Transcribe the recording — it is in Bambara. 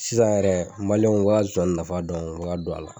Sisan yɛrɛ u bi ka zonzanni nafa dɔn u bi ka don a la